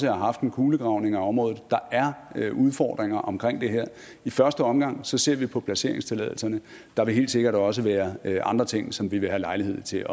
har haft en kulegravning af området der er udfordringer omkring det her i første omgang ser vi på placeringstilladelserne der vil helt sikkert også være andre ting som vi vil have lejlighed til